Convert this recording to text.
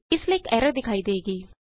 ਇਸ ਲਈ ਇਕ ਐਰਰ ਦਿਖਾਈ ਦੇਵੇਗੀ